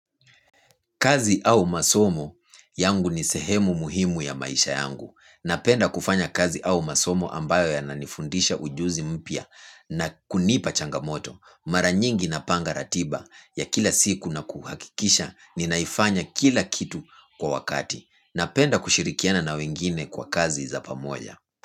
Kazi au masomo yangu ni sehemu muhimu ya maisha yangu. Napenda kufanya kazi au masomo ambayo ya nanifundisha ujuzi mpya na kunipa changamoto. Mara nyingi na panga ratiba ya kila siku na kuhakikisha ni naifanya kila kitu kwa wakati. Napenda kushirikiana na wengine kwa kazi za pamoja.